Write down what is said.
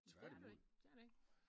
Tværtimod